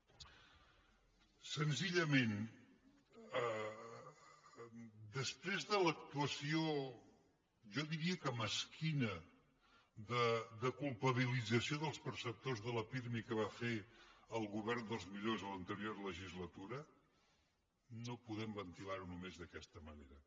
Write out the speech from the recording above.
senzillament després de l’actuació jo diria que mesquina de culpabilització dels perceptors de la pirmi que va fer el govern dels millors a l’anterior legislatura no podem ventilar ho només d’aquesta manera